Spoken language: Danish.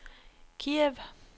Kiev